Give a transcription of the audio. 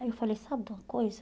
Aí eu falei, sabe de uma coisa?